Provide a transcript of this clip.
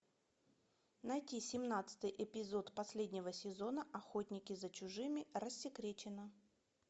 найти семнадцатый эпизод последнего сезона охотники за чужими рассекречено